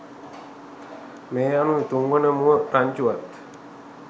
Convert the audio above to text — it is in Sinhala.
මේ අනුව තුන්වන මුව රංචුවත්